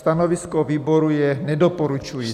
Stanovisko výboru je nedoporučující.